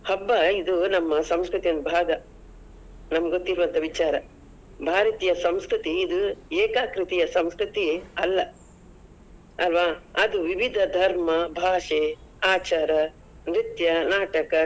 ಹಬ್ಬ ಇದು ನಮ್ಮ ಸಂಸ್ಕೃತಿಯ ಒಂದು ಭಾಗ, ನಮ್ಗೊತ್ತಿರೋ ಅಂತ ವಿಚಾರ, ಭಾರತೀಯ ಸಂಸ್ಕೃತಿ ಇದು ಏಕಕೃತಿಯ ಸಂಸ್ಕೃತಿ ಅಲ್ಲ, ಅಲ್ವಾ? ಅದು ವಿವಿಧ ಧರ್ಮ, ಭಾಷೆ, ಆಚಾರ, ನೃತ್ಯ, ನಾಟಕ.